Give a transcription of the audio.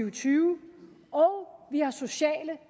og tyve og vi har sociale